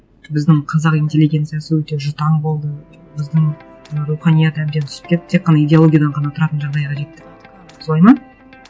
біздің қазақ интеллигенциясы өте жұтаң болды біздің руханият әбден түсіп кетті тек қана идеологиядан ғана тұратын жағдайға жетті солай ма